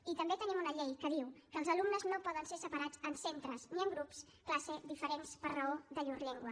i també tenim una llei que diu que els alumnes no poden ser separats ni en centres ni en grups classe diferents per raó de llur llengua